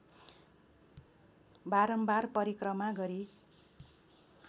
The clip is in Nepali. बारम्बार परिक्रमा गरी